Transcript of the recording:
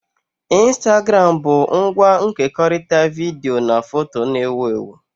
Ịnstagramụ bu ngwa nkekọrịta vidiyo na foto na-ewu ewu